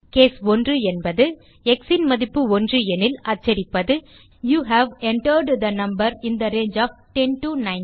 case 1 என்பது x ன் மதிப்பு 1 எனில் அச்சடிப்பது you have entered the number in the range of 10 to 19